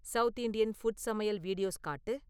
south Indian food சமையல் videos காட்டு